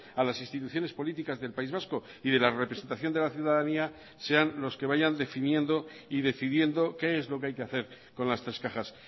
a las instituciones políticas del país vasco y de la representación de la ciudadanía sean los que vayan definiendo y decidiendo qué es lo que hay que hacer con las tres cajas